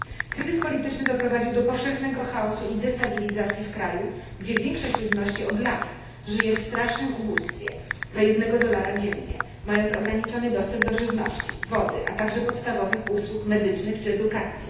Kryzys polityczny doprowadził do powszechnego chaosu i destabilizacji w kraju, gdzie większość ludności od lat żyje w strasznym ubóstwie za 1 dolara dziennie, mając ograniczony dostęp do żywności, wody, a także podstawowych usług medycznych czy edukacji.